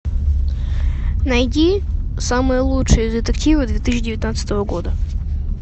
найди самые лучшие детективы две тысячи девятнадцатого года